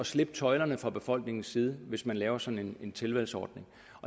slippe tøjlerne fra befolkningens side hvis man laver sådan en tilvalgsordning